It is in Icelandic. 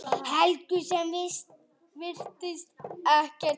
Helgu sem virðist ekkert hissa.